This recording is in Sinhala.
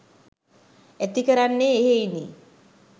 ඇතිකරන්නේ එහෙයිනි.